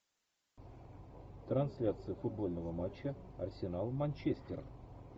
трансляция футбольного матча арсенал манчестер